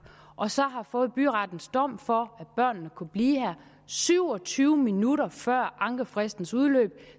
og så har fået byrettens dom for at børnene kunne blive her syv og tyve minutter før ankefristens udløb